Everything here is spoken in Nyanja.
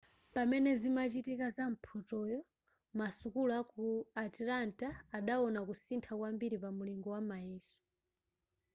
pamene zimachitika za mphotoyo masukulu aku atlanta adawona kusintha kwambiri pa mulingo wa mayeso